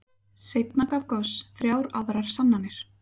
Seinna gaf Gauss þrjár aðrar sannanir.